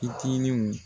Fitininw